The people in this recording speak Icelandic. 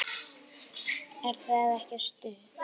Er það ekki stuð?